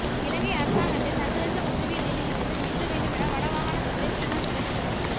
இலங்கை அரசாங்கத்தை சர்வதேச குற்றவியல் நீதிமன்றத்தில் நிறுத்த வேண்டுமென வடமாகாண சபையில் தீர்மானம் நிறைவேற்றப்பட்டது